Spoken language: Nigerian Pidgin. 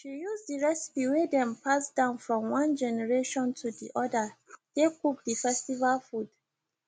she use the recipe wey dem pass down from one generation to the other take cook the festival food